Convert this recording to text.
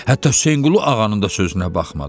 Hətta Hüseynqulu ağanın da sözünə baxmadı.